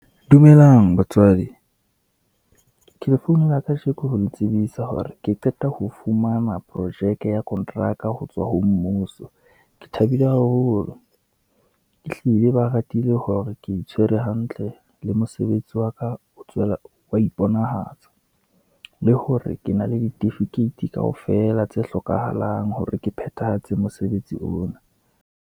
Dumelang batswadi, ke le founela kajeko ho le tsebisa hore ke qeta ho fumana projeke ya konteraka ho tswa ho mmuso. Ke thabile haholo, ehlile ba ratile hore ke itshwere hantle, le mosebetsi waka wa iponahatsa, le hore ke na le ditifikeiti kaofela tse hlokahalang, hore ke phethahatse mosebetsi ona.